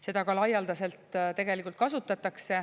Seda ka laialdaselt tegelikult kasutatakse.